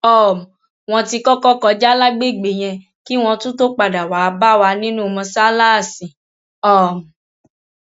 um wọn ti kọkọ kọjá lágbègbè yẹn kí wọn tún tóó padà wàá bá wa nínú mọsáláàsì um